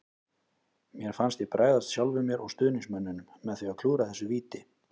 Mér fannst ég bregðast sjálfum mér og stuðningsmönnunum með því að klúðra þessu víti.